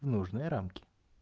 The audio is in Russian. в нужные рамки